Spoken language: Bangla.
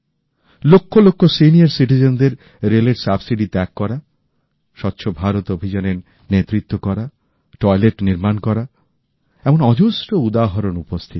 লক্ষ লক্ষ প্রবীণ নাগরিকদের রেল এর ভর্তুকি ত্যাগ করা স্বচ্ছ ভারত অভিযানের নেতৃত্ব দেওয়া শৌচাগার নির্মান করা এমন অজস্র উদাহরণ রয়েছে